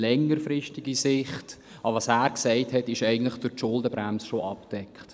Aber das, was er eigentlich gesagt hat, ist durch die Schuldenbremse bereits abgedeckt.